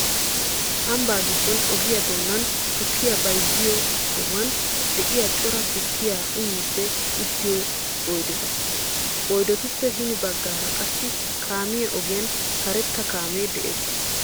Ambbaa giddon ogiyaa doonan tukkiya bayzziyo sohuwan de'iyaa cora tukkiyaa uyiiddi uttiyo oydeta. Oydetuppe hini baggaara qassi kaamiyaa ogiyan karetta kaamee de'ees.